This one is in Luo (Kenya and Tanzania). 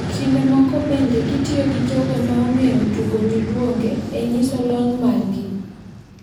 Kinde moko bende gitiyo gi jogo ma ong`eyo tugo nyiduonge e nyiso lony margi.